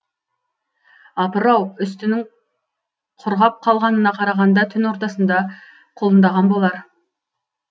апыр ау үстінің құрғап қалғанына қарағанда түн ортасында құлындаған болар